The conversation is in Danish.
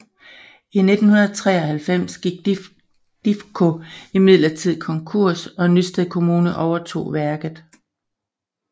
I 1993 gik Difko imidlertid konkurs og Nysted Kommune overtog værket